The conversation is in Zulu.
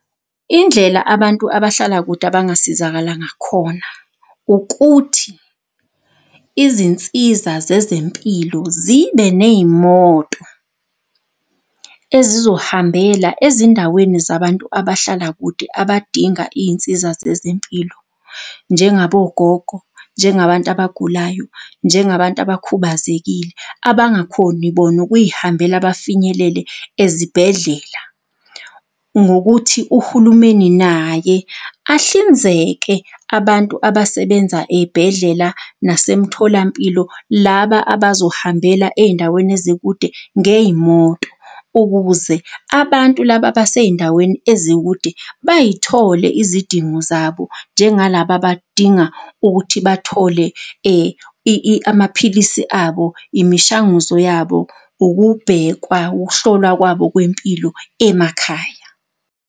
Indlela abantu abahlala kude abangasizakala ngakhona, ukuthi izinsiza zezempilo zibe ney'moto ezizohambela ezindaweni zabantu abahlala kude abadinga iy'nsiza zezempilo njengabogogo, njengabantu abagulayo, njengabantu abakhubazekile, abangakhoni bona ukuy'hambela bafinyelele ezibhedlela. Ngokuthi uhulumeni naye ahlinzeke abantu abasebenza ey'bhedlela nasemtholampilo laba abazohambela ey'ndaweni ezikude ngey'moto ukuze abantu laba basey'ndaweni ezikude bay'thole izidingo zabo njengalaba abadinga ukuthi bathole amaphilisi abo, imishanguzo yabo, ukubhekwa, ukuhlolwa kwabo kwempilo emakhaya.